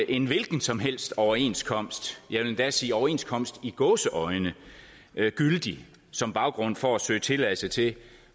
en hvilken som helst overenskomst jeg vil endda sige overenskomst i gåseøjne gyldig som baggrund for at søge tilladelse til